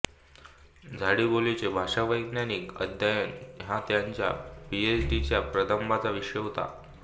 झाडीबोलीचे भाषावैज्ञानिक अध्ययन हा त्यांच्या पी एच डी च्या प्रबंधाचा विषय होता